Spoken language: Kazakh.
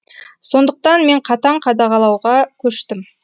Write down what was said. сондықтан мен қатаң қадағалауға көштім